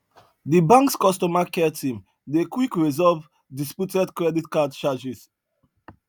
di banks customer care team dey quick resolve disputed credit card charges